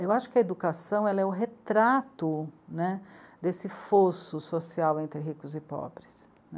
Eu acho que a educação é o retrato, né, desse fosso social entre ricos e pobres.